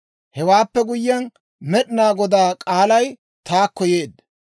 Hewaappe guyyiyaan, Med'inaa Godaa k'aalay taakko yeedda;